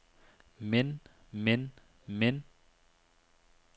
men men men